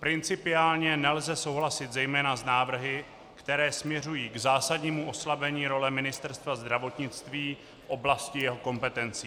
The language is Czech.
Principiálně nelze souhlasit zejména s návrhy, které směřují k zásadnímu oslabení role Ministerstva zdravotnictví v oblasti jeho kompetencí.